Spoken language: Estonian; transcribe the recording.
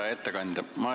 Hea ettekandja!